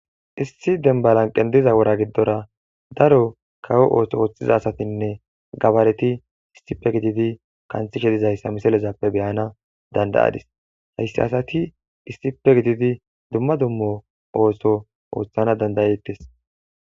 Issi demba lanqe diza wora giddora daro kawo otho oththiza asatinne gabareti issippe gididi qanxishe dezaysa misilezappe be7ana danda7adis.heysa asati issippe gididi dumma dumma ootho oththana danda7etes.